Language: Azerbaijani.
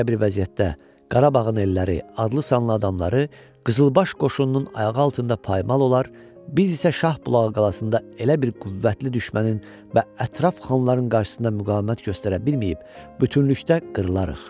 Belə bir vəziyyətdə Qarabağın elləri, adlı-sanlı adamları qızılbaş qoşununun ayağı altında paymal olar, biz isə Şahbulağı qalasında elə bir qüvvətli düşmənin və ətraf xanlarının qarşısında müqavimət göstərə bilməyib bütövlükdə qırlarıq.